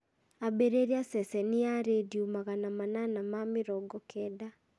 ambĩrĩria ceceni ya rĩndiũ magana manana ma mĩrongo kenda